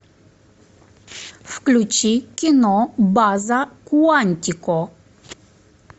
включи кино база куантико